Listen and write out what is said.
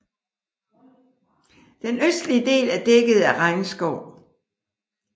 Den østlige del er dækket af regnskov